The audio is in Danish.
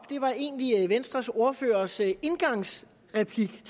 venstres ordførers indgangsreplik